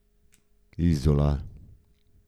Izola.